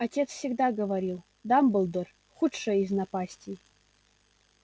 отец всегда говорил дамблдор худшая из напастей